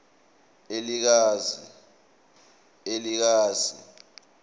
elikazi